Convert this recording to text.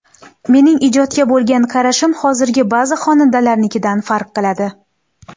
Mening ijodga bo‘lgan qarashim hozirgi ba’zi xonandalarnikidan farq qiladi.